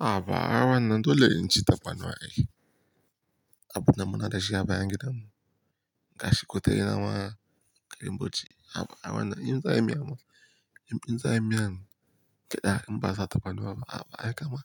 Ha ba ai wan nan dole in ci tafarnuwa ai. Abu da munada shi a bayan gidan mu. Gashi kutarenawa, karim buci. A'a ba'a rawa nan in za a yi miya masa. In za a yi miyan gyaɗa in ba sa tafarnuwa a'a ba'a kama.